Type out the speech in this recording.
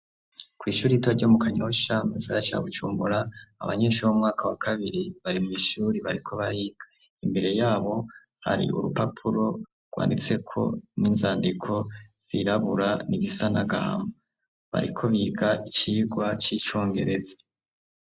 Kw' ishuri rito ryo mu Kanyosha mugisagara ca Bujumbura , abanyeshuri bo mu mwaka wa kabiri bari mw' ishuri bariko bariga imbere yabo hari urupapuro rwanditseko n'inzandiko zirabura nigisa n'agahama, bariko biga icigwa c'icongereza.